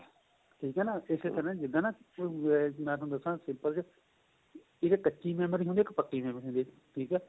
ਠੀਕ ਏ ਨਾ ਇਸੇ ਤਰ੍ਹਾਂ ਜਿੱਦਾ ਨਾ ਮੈਂ ਤੁਹਾਨੂੰ ਦੱਸਾ ਇੱਕ ਕੱਚੀ memory ਹੁੰਦੀ ਏ ਇੱਕ ਪੱਕੀ memory ਹੁੰਦੀ ਏ ਠੀਕ ਏ